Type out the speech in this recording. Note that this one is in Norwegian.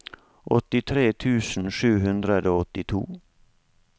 åttitre tusen sju hundre og åttito